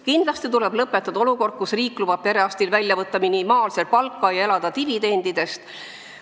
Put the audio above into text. Kindlasti tuleb lõpetada olukord, kus riik lubab perearstil välja võtta minimaalselt palka ja elada dividendidest.